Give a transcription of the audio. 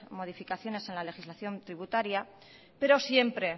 modificaciones en la legislación tributaria pero siempre